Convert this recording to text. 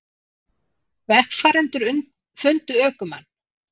Vegfarendur fundu ökumann